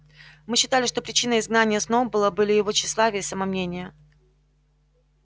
мы считали что причиной изгнания сноуболла были его тщеславие и самомнение